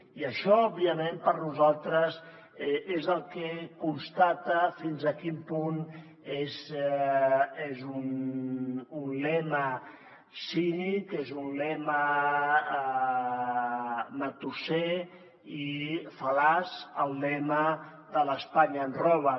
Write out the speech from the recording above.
i això òbviament per nosaltres és el que constata fins a quin punt és un lema cínic és un lema matusser i fal·laç el lema de l’ espanya ens roba